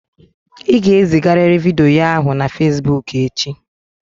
Ị ga-ezigarịrị vidiyo ahụ na Fesiboku echi!